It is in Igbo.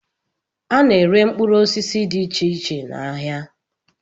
A na-ere mkpụrụ osisi dị iche iche n'ahịa